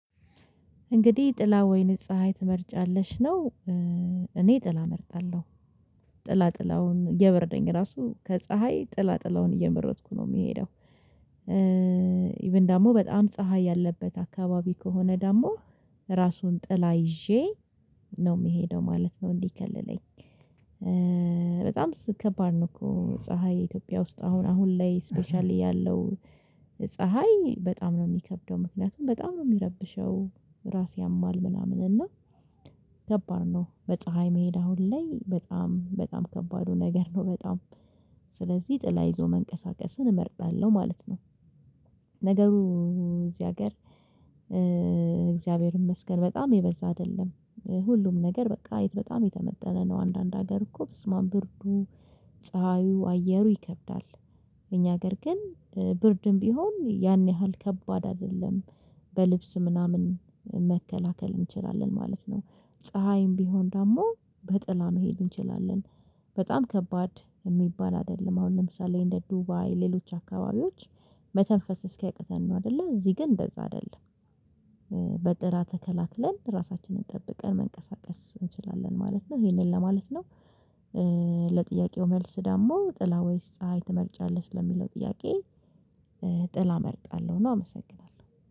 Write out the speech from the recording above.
እንግዲህ ጥላ ወይን ፀሀይ ትመርጫለሽ? ነው እኔ ጥላ እመርጣለሁ ጥላ ጥላውን እየበረደኝ ራሱ ከፀሀይ ጥላጥላውን እየመረጥኩ ነው ምሄደው ኢቭን ደግሞ በጣም ፀሀይ ያለበት አካባቢ ከሆነ ደግሞ እራሱን ጥላ ይዤ ነው ምሄደው ማለት ነው እንዲከልለኝ በጣም ከባድ ነው እኮ ፀሀይ ኢትዮጵያ ውስጥ አሁን አሁን ላይ ስፔሻሊ ያለው ፀሀይ በጣም ነው ሚከብደው ምክንያቱም በጣም ነው ሚረብሸው እራስ ያማል ምናምን እና ከባድ ነው በፀሀይ መሄድ አሁን ላይ በጣም በጣም ከባዱ ነገር ነው በጣም ስለዚህ ጥላ ይዞ መንቀሳቀስን እመርጣለሁ ማለት ነው ነገሩ እዚ ሀገር እግዚአብሔር ይመስገን! በጣም የበዛ አይደለም። ሁሉም ነገር በቃ የት በጣም የተመጠነ ነው። አንዳንድ ሀገር እኮ በስማም ብርዱ ፀሀዩ አየሩ ይከብዳል። እኛ ሀገር ግን ብርድም ቢሆን ያን ያህል ከባድ አደለም በልብስ ምናምን መከላከል እንችላለን ማለት ነው። ፀሀይም ቢሆን ደግሞ በጥላ መሄድ እንችላለን። በጣም ከባድ የሚባል አይደለም። አሁን ለምሳሌ እንደ ዱባይ ሌሎች አካባቢዎች መተንፈስ እስኪያቅተን ነው አይደለ? እዚ ግን እንደዛ አይደለም በጥላ ተከላክለን እራሳችንን ጠብቀን መንቀሳቀስ እንችላለን ማለት ነው። ይሄንን ለማለት ነው ለጥያቄው መልስ ደግሞ ጥላ ወይስ ፀሀይ ትመርጫለሽ ለሚለው ጥያቄ ጥላ መርጣለሁ ነው። አመሰግናለሁ!